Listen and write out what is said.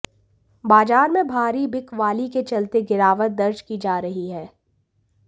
बाजार में भारी बिकवाली के चलते गिरावट दर्ज की जा रही है